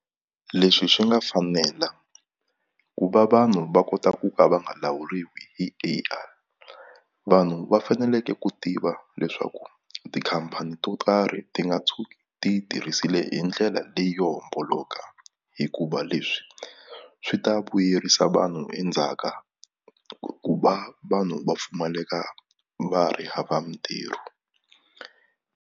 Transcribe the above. Leswi swi nga fanela ku va vanhu va kota ku ka va nga lawuriwi hi A_I vanhu va faneleke ku tiva leswaku tikhampani to tarhi ti nga tshuki ti yi tirhisile hi ndlela leyo homboloka hikuva leswi swi ta vuyerisa vanhu endzhaka ku va vanhu va pfumaleka va ha ri hava mitirho.